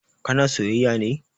Ka na sayyaya ne?